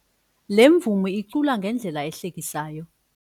Le mvumi icula ngendlela ehlekisayo.